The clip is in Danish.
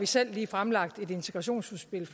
selv lige fremlagt et integrationsudspil